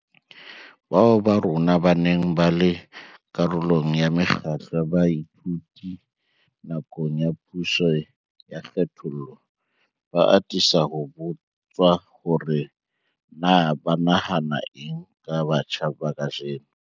Bao ba rona ba neng ba le karolo ya mekgatlo ya baithuti nakong ya puso ya kgethollo, ba atisa ho botswa hore na ba nahana eng ka batjha ba kajeno.